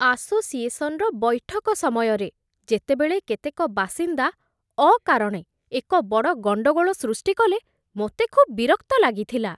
ଆସୋସିଏସନ୍‌‌ର ବୈଠକ ସମୟରେ ଯେତେବେଳେ କେତେକ ବାସିନ୍ଦା ଅକାରଣେ ଏକ ବଡ଼ ଗଣ୍ଡଗୋଳ ସୃଷ୍ଟି କଲେ, ମୋତେ ଖୁବ୍ ବିରକ୍ତ ଲାଗିଥିଲା।